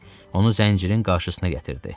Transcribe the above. Onu zəncirin qarşısına gətirdi.